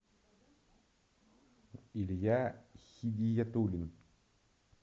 илья хидиятулин